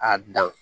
A dan